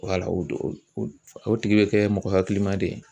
Wala o do o tigi bɛ kɛ mɔgɔ hakilima de ye.